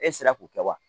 E sera k'u kɛ wa